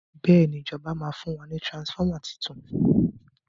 béèni ìjọba ma fún wa ní transformer títún